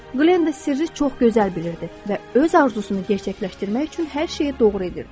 Glenda sirri çox gözəl bilirdi və öz arzusunu gerçəkləşdirmək üçün hər şeyi doğru edirdi.